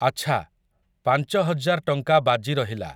ଆଚ୍ଛା, ପାଞ୍ଚ ହଜାର୍ ଟଙ୍କା ବାଜି ରହିଲା ।